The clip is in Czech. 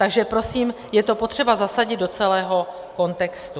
Takže prosím, je to potřeba zasadit do celého kontextu.